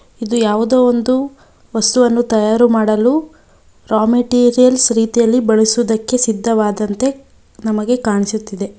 ಇದು ಯಾವುದೊ ಒಂದು ವಸ್ತುವನ್ನು ತಯಾರು ಮಾಡಲು ರಾ ಮೆಟೀರಿಯಲ್ಸ್ ರೀತಿಯಲ್ಲಿ ಬಳಸುವುದಕ್ಕೆ ಸಿದ್ದವಾದಂತೆ ನಮಗೆ ಕಾಣಿಸುತ್ತಿದೆ.